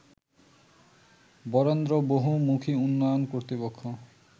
বরেন্দ্র বহুমুখীউন্নয়ন কর্তৃপক্ষ